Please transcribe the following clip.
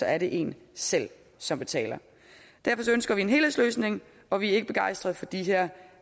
er det en selv som betaler derfor ønsker vi en helhedsløsning og vi er ikke begejstrede for de her